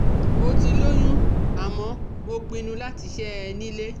Mo ti lóyún àmọ́ mo pinnu láti ṣẹ́ ẹ nílé